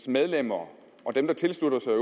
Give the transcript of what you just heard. medlemmer og dem der tilslutter sig